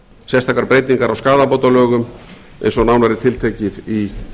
sérstakar breytingar á skaðabótalögum eins og nánar er tiltekið í